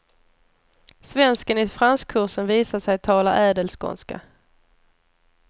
Svensken i franskkursen visade sig tala ädelskånska.